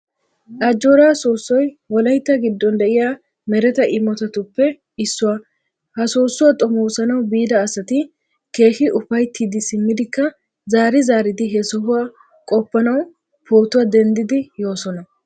Ajjoora soossoy wolaytta giddon de"iya mereta imotatuppe issuwa. Ha soossuwa xomoosanawu biida asati keehi ufayttidi simmidikka zaari zaaridi he sohuwaa qoppanawu pootuwaa denddidi yoosona.